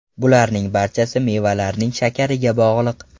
Bularning barchasi mevalarning shakariga bog‘liq.